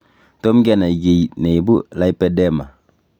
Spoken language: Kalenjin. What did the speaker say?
Tom kenai kiy neibu lipedema.